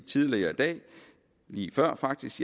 tidligere i dag lige før faktisk